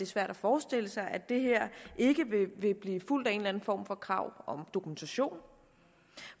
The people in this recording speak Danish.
svært at forestille sig at det her ikke vil blive fulgt af en eller anden form for krav om dokumentation